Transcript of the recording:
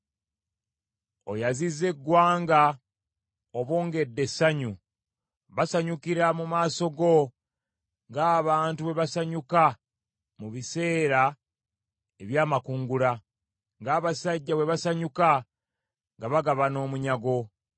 Oyazizza eggwanga, obongedde essanyu, basanyukira mu maaso go ng’abantu bwe basanyuka mu biseera eby’amakungula, ng’abasajja bwe basanyuka nga bagabana omunyago.